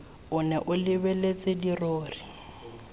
o nne o lebeletse dirori